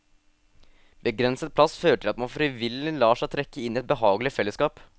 Begrenset plass fører til at man frivillig lar seg trekke inn i et behagelig fellesskap.